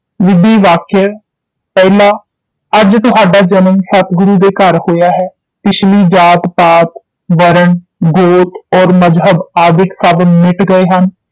ਵਿਧੀ ਵਾਕ੍ਯ ਪਹਿਲਾ ਅੱਜ ਤੁਹਾਡਾ ਜਨਮ ਸਤਿਗੁਰੂ ਦੇ ਘਰ ਹੋਇਆ ਹੈ, ਪਿਛਲੀ ਜਾਤਿ ਪਾਤਿ, ਵਰਣ, ਗੀਤ ਔਰ ਮਜ਼ਹਬ ਆਦਿਕ ਸਭ ਮਿਟ ਗਏ ਹਨ